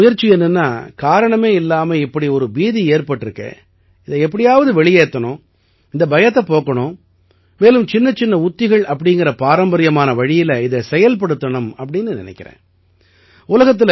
ஆனா என்னோட முயற்சி என்னன்னா காரணமே இல்லாம இப்படி ஒரு பீதி ஏற்பட்டிருக்கே இதை எப்படியாவது வெளியேத்தணும் இந்த பயத்தைப் போக்கணும் மேலும் சின்னச்சின்ன உத்திகள் அப்படீங்கற பாரம்பர்யமான வழியில இதை செயல்படுத்தணும்னு நினைக்கறேன்